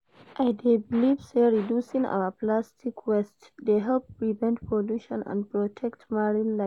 I dey believe say reducing our plastic waste dey help prevent pollution and protect marine life.